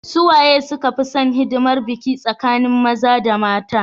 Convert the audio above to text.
suwaye suka fi San hidimar biki tsakanin maza da mata